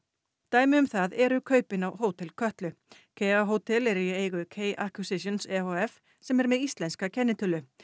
dæmi um það eru kaupin á Hótel Kötlu hótel eru í eigu k e h f sem er með íslenska kennitölu